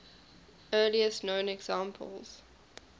earliest known examples